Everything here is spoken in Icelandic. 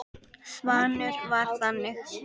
Svanur var þannig.